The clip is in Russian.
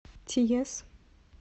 тиес